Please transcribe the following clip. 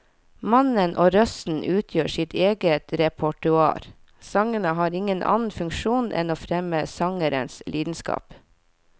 Mannen og røsten utgjør sitt eget repertoar, sangene har ingen annen funksjon enn å fremme sangerens lidenskap.